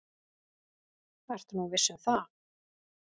Ertu nú viss um það?